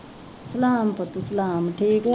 ਸਲਾਮ ਪੁੱਤ ਸਲਾਮ ਠੀਕ ਆ